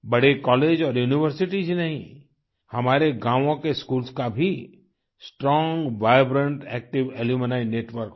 बड़े कॉलेज और यूनिवर्सिटीज ही नहीं हमारे गांवो के स्कूल्स का भी strong vibrant active alumni network हो